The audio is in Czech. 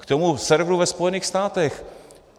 K tomu serveru ve Spojených státech.